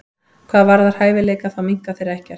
Hvað varðar hæfileika þá minnka þeir ekkert.